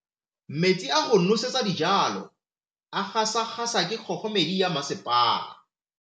Metsi a go nosetsa dijalo a gasa gasa ke kgogomedi ya masepala.